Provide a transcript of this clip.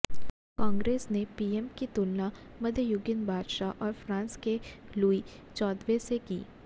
कांग्रेस ने पीएम की तुलना मध्ययुगीन बादशाह और फ्रांस के लुई चौदहवें से की